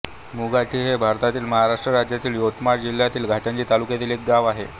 मुधाटी हे भारतातील महाराष्ट्र राज्यातील यवतमाळ जिल्ह्यातील घाटंजी तालुक्यातील एक गाव आहे